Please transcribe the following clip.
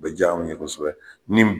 O bɛ diya anw ye kosɛbɛ ni